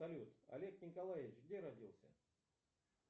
салют олег николаевич где родился